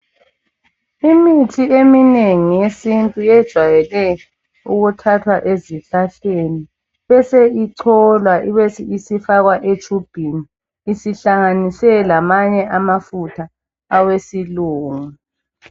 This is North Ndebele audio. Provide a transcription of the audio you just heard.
Imithi eminengi yesintu yejale ukuthathwa ezihlahleni bese icholwa ibisifakwa etshubhini isihlanganiswe lamanye amafutha awesilungu